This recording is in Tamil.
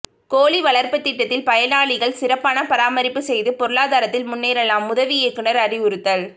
கோழிகள் வளர்ப்பு திட்டத்தில் பயனாளிகள் சிறப்பான பராமரிப்பு செய்து பொருளாதாரத்தில் முன்னேறலாம் உதவி இயக்குனர் அறிவுறுத்தல்